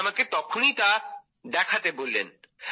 উনি আমাকে তখনই তা দেখাতে বললেন